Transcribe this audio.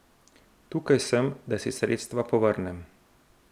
Tukaj sem, da si sredstva povrnem.